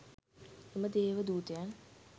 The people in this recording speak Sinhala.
එම දේව දූතයන්